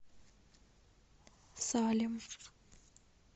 салем